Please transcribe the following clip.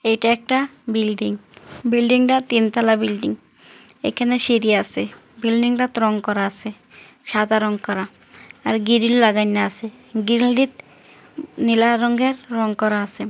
এটা একটাবিল্ডিং বিল্ডিং টা তিন তালা বিল্ডিং এখানে সিঁড়ি আসেবিল্ডিং টাতে রং করা আসে সাদা রং করা আর গিরিল লাগাইনা আসে গিললিত উ-নীলা রঙের রং করা আসে।